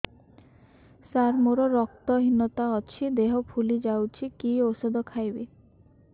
ସାର ମୋର ରକ୍ତ ହିନତା ଅଛି ଦେହ ଫୁଲି ଯାଉଛି କି ଓଷଦ ଖାଇବି